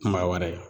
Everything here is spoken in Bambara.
Kuma wɛrɛ